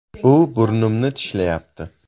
“U burnimni tishlayapti”.